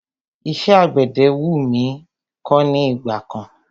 Iṣẹ́ àgbẹ̀dẹ wú mí kọ́ ní ìgbà kan.